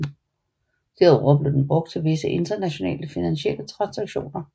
Derudover blev den brugt til visse internationale finansielle transaktioner